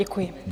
Děkuji.